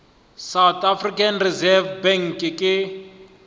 south african reserve bank ke